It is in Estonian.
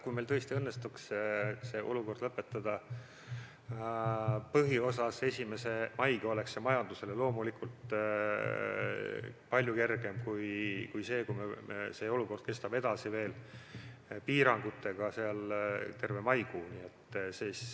Kui meil tõesti õnnestuks see olukord lõpetada põhiosas 1. mail, oleks see majandusele loomulikult palju kergem kui see, kui piirangud kestavad veel terve maikuu.